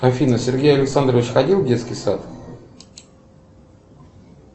афина сергей александрович ходил в детский сад